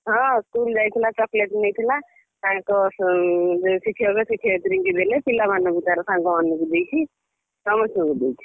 ହଁ school ଯାଇଥିଲା chocolate ନେଇଥିଲା ତାଙ୍କ ଉଁ ଶିକ୍ଷକ ଶିକ୍ଷୟତ୍ରୀଙ୍କୁ ଦେଲେ ପିଲାମାନଙ୍କୁ ତାରସାଙ୍ଗ ମାନଙ୍କୁ ଦେଇଛି। ସମସ୍ତଙ୍କୁ ଦେଇଛି।